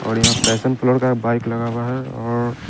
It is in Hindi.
और यहाँ पैशन कलड़ का बाइक लगा हुआ है और--